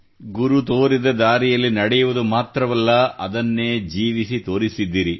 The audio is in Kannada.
ಗುರು ತೋರಿದ ದಾರಿಯಲ್ಲಿ ನಡೆಯುವುದು ಮಾತ್ರವಲ್ಲ ಅದನ್ನೇ ಜೀವಿಸಿ ತೋರಿಸಿದ್ದೀರಿ